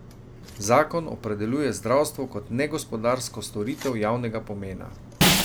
Zakon opredeljuje zdravstvo kot negospodarsko storitev javnega pomena.